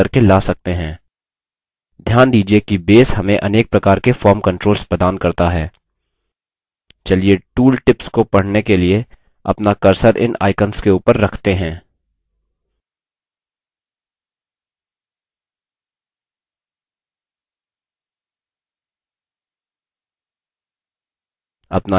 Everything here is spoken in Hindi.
ध्यान दीजिये कि base हमें अनेक प्रकार के form controls प्रदान करता है; चलिए tool tips को पढने के लिए अपना cursor इन आइकंस के ऊपर रखते हैं